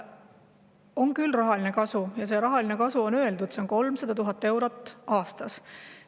On küll rahaline kasu ja see rahaline kasu on välja öeldud: see on 300 000 eurot aastas.